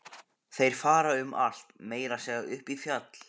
Þeir fara um allt, meira að segja upp í fjall.